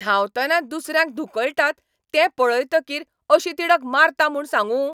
धांवतना दुसऱ्यांक धुकळटात तें पळयतकीर अशी तिडक मारता म्हूण सांगूं.